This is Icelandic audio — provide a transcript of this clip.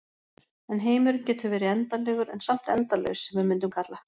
En heimurinn getur verið endanlegur en samt endalaus sem við mundum kalla.